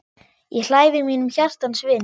Ég hlæ við mínum hjartans vini.